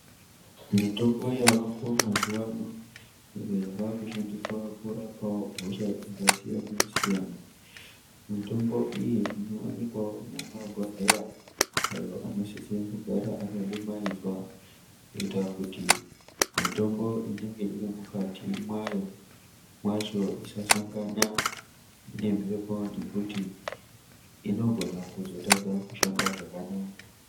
Mitombo yavako mazuva ano iyo yava kushandiswa kurapa hosha dzakasiyana siyana. Mitombo iyi inowanikwa mumabhodhleya ayo anosise kugara akadumaidzwa kuita kuti mitombo inenge iri mukati mwayo, mwacho isasangana nemhepo ngekuti inogona kuzotadza kushanda zvakanaka.